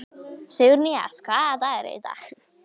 Sigurnýjas, hvaða dagur er í dag?